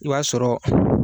I b'a sɔrɔ